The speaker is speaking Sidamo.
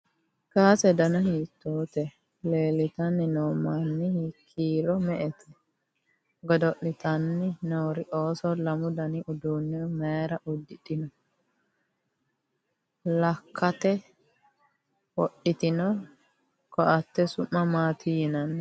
kaase danna hiitote? lelitanni noo manni kiiro me'ete? goddolitanni noori ooso lammu danni uduunne mayiira udidhino? lakkate wodhitino coatte su'ma maati yinnanni